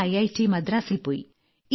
പിന്നെ ഐറ്റ് മദ്രാസിൽ പോയി